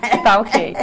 Tá, ok.